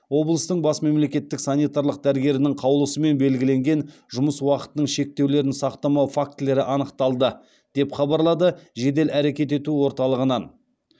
облыстың бас мемлекеттік санитарлық дәрігерінің қаулысымен белгіленген жұмыс уақытының шектеулерін сақтамау фактілері анықталды деп хабарлады жедел әрекет ету орталығынан